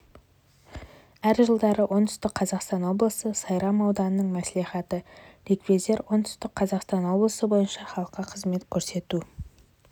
әр жылдары оңтүстік қазақстан облысы сайрам ауданының мәслихаты ревизор оңтүстік қазақстан облысы бойынша халыққа қызмет көрсету